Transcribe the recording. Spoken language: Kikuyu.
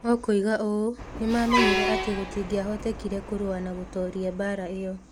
Okoiga ũũ: "Nĩ maamenyire atĩ gũtingĩahotekire kũrũa na gũtooria mbaara ĩyo.